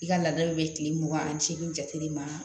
I ka laadaw bɛ tile mugan ani seegin jate de ma